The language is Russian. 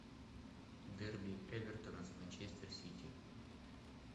дерби эвертона с манчестер сити